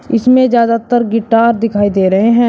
इसमें ज्यादातर गिटार दिखाई दे रहे हैं।